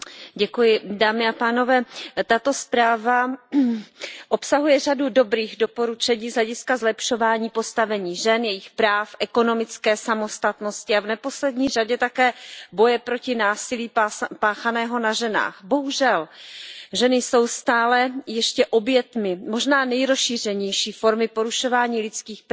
Paní předsedající, tato zpráva obsahuje řadu dobrých doporučení z hlediska zlepšování postavení žen, jejich práv, ekonomické samostatnosti a v neposlední řadě také boje proti násilí páchanému na ženách. Bohužel ženy jsou stále ještě obětmi možná nejrozšířenější formy porušování lidských práv na světě